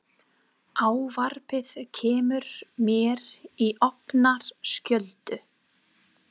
Ávarpið kemur mér í opna skjöldu.